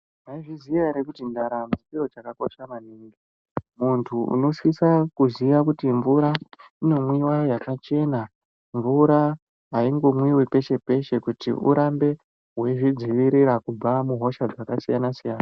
Maizviziya here kuti ndaramo ndicho chakakosha maningi .Mundu unosisa kuziya kuti mvura inomwiwa yakachena . Mvura haingomwiwi peeshe peeshe kuti urambee wechidziirira kubva muhosha dzakasiyana-siyana .